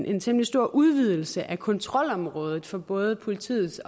en temmelig stor udvidelse af kontrolområdet for både politiets